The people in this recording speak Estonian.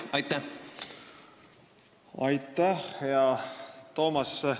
Aitäh, hea Toomas!